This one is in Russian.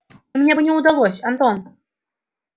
мне бы не удалось антон